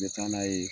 N bɛ taa n'a ye